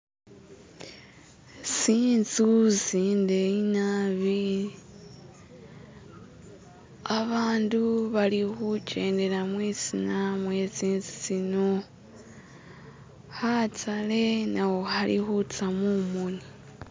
tsintsu tsideyi nabi, abandu balikukyedela mwitsina mwetsintsu tsino khataale nakho khalikuza mumoni